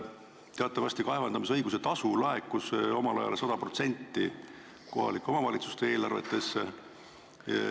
Teatavasti laekus kaevandamisõiguse tasu omal ajal 100% kohalike omavalitsuste eelarvetesse.